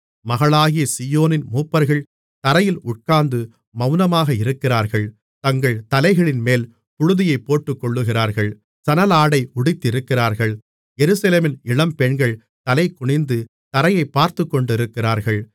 மகளாகிய சீயோனின் மூப்பர்கள் தரையில் உட்கார்ந்து மெளனமாக இருக்கிறார்கள் தங்கள் தலைகளின்மேல் புழுதியைப் போட்டுக்கொள்ளுகிறார்கள் சணலாடை உடுத்தியிருக்கிறார்கள் எருசலேமின் இளம்பெண்கள் தலைகுனிந்து தரையைப் பார்த்துக்கொண்டிருக்கிறார்கள்